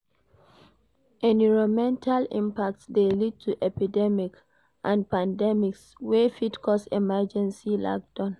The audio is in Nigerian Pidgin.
Enironmental impacts de lead to epidemic and pandemics wey fit cause emergency lockdown